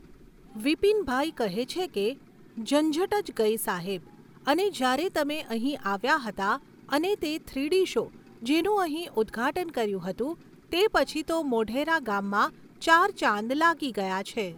વિપિનભાઈ કહે છે કે, ઝંઝટ જ ગઈ સાહેબ. અને જ્યારે તમે અહીં આવ્યા હતા અને તે થ્રીડી શો, જેનું અહીં ઉદ્ઘાટન કર્યું હતું તે પછી તો મોઢેરા ગામમાં ચાર ચાંદ લાગી ગયા છે